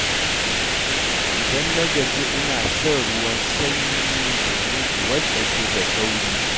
Idan na gaji ina shan ruwan shayi domin in wartsake da sauri